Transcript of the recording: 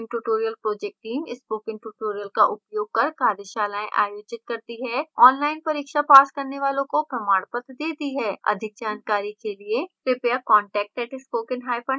spoken tutorial project teamspoken tutorial का उपयोग कर कार्यशालाएं आयोजित करती है online परीक्षा पास करने वालों को प्रमाण पत्र देती है अधिक जानकारी के लिए कृपयाcontact @spokentutorial org पर लिखें